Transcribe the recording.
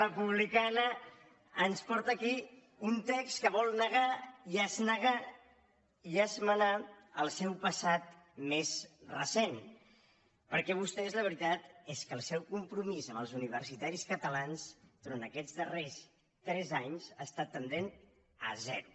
cana ens porta aquí un text que vol negar i esmenar el seu passat més recent perquè vostès la veritat és que el seu compromís amb els universitaris catalans du·rant aquests darrers tres anys ha estat tendent a zero